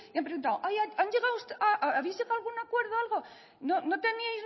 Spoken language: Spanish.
y han preguntado habéis llegado a algún acuerdo o algo